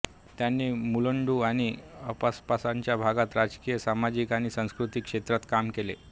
त्यांनी मुलुंड आणि आसपासच्या भागात राजकीय सामाजिक आणि सांस्कृतिक क्षेत्रात काम केले